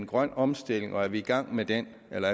grøn omstilling og spørger om vi i gang med den eller